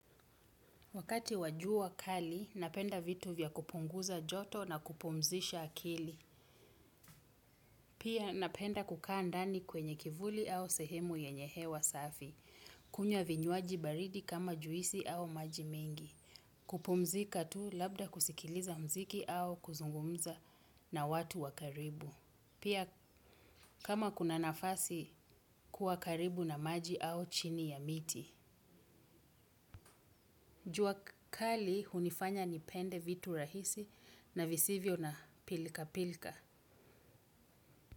Wakati wajua kali, napenda vitu vya kupunguza joto na kupumzisha akili. Pia napenda kukaa ndani kwenye kivuli au sehemu yenyehe wa safi. Kunywa vinywaji baridi kama juisi au maji mengi. Kupumzika tu labda kusikiliza mziki au kuzungumza na watu wakaribu. Pia kama kuna nafasi kuwa karibu na maji au chini ya miti. Jua kali unifanya nipende vitu rahisi na visivyo na pilika pilika.